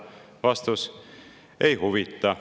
Vastus: ei huvita.